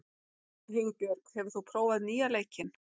Hugbjörg, hefur þú prófað nýja leikinn?